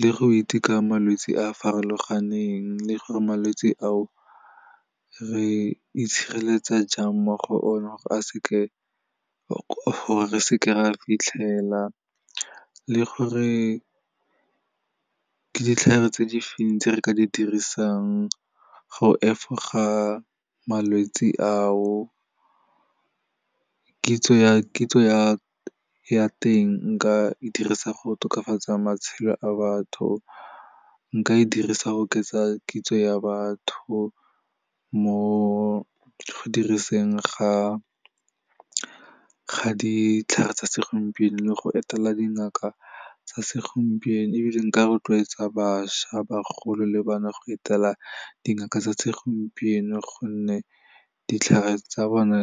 le go iteka malwetse a a farologaneng le gore malwetse a o, re itshireletsa jang mo go one gore re seke ra fitlhelela le gore ke ditlhare tse di feng tse re ka di dirisang go efoga malwetsi a o, kitso ya teng nka e dirisa go tokafatsa matshelo a batho, nka e dirisa go oketsa kitso ya batho mo go diriseng ga ditlhare tsa segompieno le go etela dingaka tsa segompieno ebile nka rotloetsa bašwa, bagolo le bana go etela dingaka tsa segompieno gonne ditlhare tsa bona